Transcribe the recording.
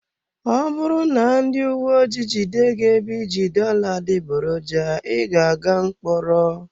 Ọ bụrụ na ndị uwe ojii jide gị ebe iji dollar adịgboroja, ị ga-aga mkpọrọ.